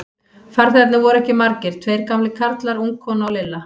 Farþegarnir voru ekki margir, tveir gamlir karlar, ung kona og Lilla.